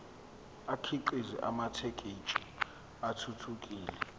akhiqize amathekisthi athuthukile